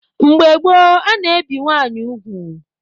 Mgbe gboo, a na-ebi nwaanyị ugwu.